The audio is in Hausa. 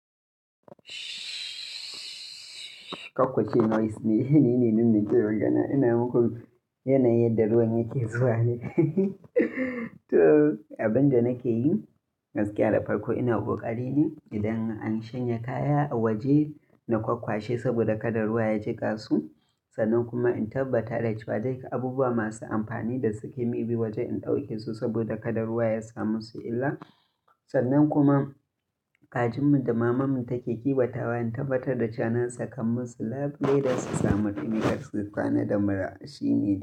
Kwakwace noise ne, ni ne dinnan ke magana. Ina muku yanayin yadda ruwan yake zuwa ne. To, abin da nake yi gaskiya da farko ina kokari ne idan an shanye kaya a waje na kwakwashe saboda kada ruwa ya jika su. Sannan kuma in tabbatar da cewa duk abubuwa masu amfani da suke maybe waje ɗauke su saboda kada ruwa ya samu su illa. Sannan kuma kajin mu da mamanmu take kiwatawa in tabbatar da sakanmusu labule da su sami ɗumi, gaskiya kwana da mura shi ne.